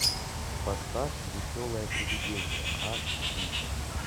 поставь веселое привидение аш ди